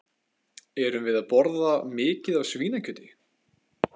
Erum við að borða mikið af svínakjöti?